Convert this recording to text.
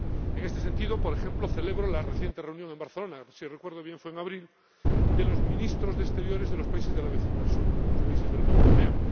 En este sentido, por ejemplo, celebro la reciente reunión en Barcelona —si recuerdo bien, fue en abril— de los Ministros de Exteriores de los países de la vecindad sur con los países de la Unión Europea.